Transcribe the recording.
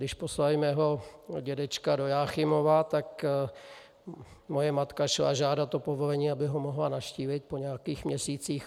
Když poslali mého dědečka do Jáchymova, tak moje matka šla žádat o povolení, aby ho mohla navštívit po nějakých měsících.